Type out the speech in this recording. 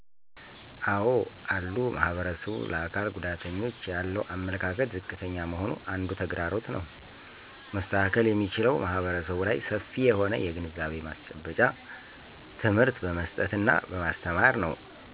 አዎ አሉ ማህበረሰቡ ለአካል ጉዳተኞች ያለው አመለካከት ዝቅተኛ መሆኑ አንዱ ተግዳሮት ነው። መስተካከል የሚችለው ማህረሰቡ ላይ ሰፊ የሆነ የግንዛቤ ማስጨበጫ ትምህርት በመስጠት እና በማስተማር ነው።